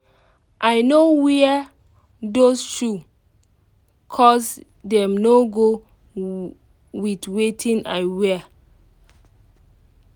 i no wear those shoe cos dem no go with wetin i wear